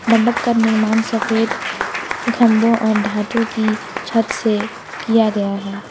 मंडप का निर्माण सफेद खंभों और धातु की छत से किया गया है।